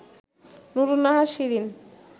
Nurunnahar Shirin